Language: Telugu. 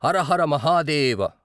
హరిహర మహాదేవ!